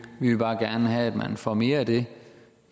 vil bare gerne have at man får mere af det